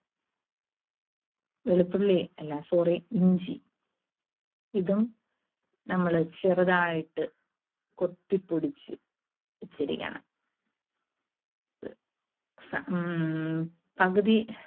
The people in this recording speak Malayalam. വെളുത്തുള്ളി അല്ല sorry ഇഞ്ചി. ഇതും നമ്മള് ചെറുതായിട്ട് കൊത്തി പൊടിച്ച് പൊടിച്ചിരിക്കണം. ഉം പകുതി